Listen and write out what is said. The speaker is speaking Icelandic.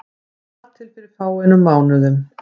Þar til fyrir fáeinum mánuðum.